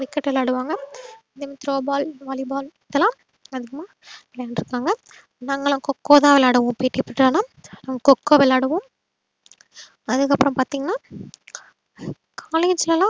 cricket விளையாடுவாங்க then throw ball valleyball இதுலா அதிகமா விளையான்றுப்பாங்க நாங்கலாம் கோ கோ தான் விளையாடுவோம் PET period லலாம் கோ கோ விளையாடுவோம் அதுக்கப்றோம் பாத்திங்கன்னா collage ல லாம்